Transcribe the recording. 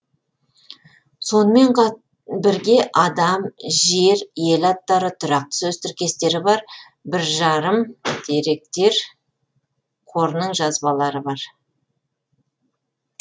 сонымен бірге адам жер ел аттары тұрақты сөз тіркестері бар бір жарым деректер қорының жазбалары бар